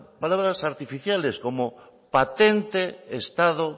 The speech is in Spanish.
palabras artificiales como patente estado